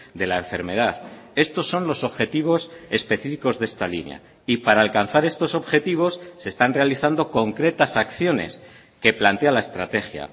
de la enfermedad estos son los objetivos específicos de esta línea y para alcanzar estos objetivos se están realizando concretas acciones que plantea la estrategia